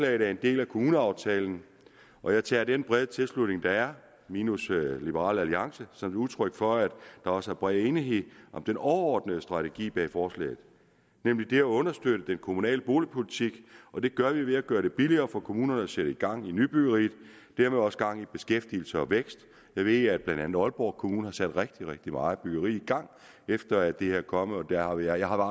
er en del af kommuneaftalen og jeg tager den brede tilslutning der er minus liberal alliance som et udtryk for at der også er bred enighed om den overordnede strategi bag forslaget nemlig det at understøtte den kommunale boligpolitik og det gør vi ved at gøre det billigere for kommunerne at sætte gang i nybyggeriet og dermed også gang i beskæftigelse og vækst jeg ved at blandt andet aalborg kommune har sat rigtig rigtig meget byggeri i gang efter at det her er kommet og jeg har